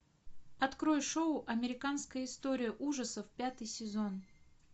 открой шоу американская история ужасов пятый сезон